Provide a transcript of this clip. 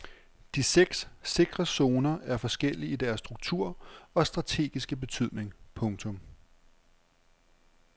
De seks sikre zoner er forskellige i deres struktur og strategiske betydning. punktum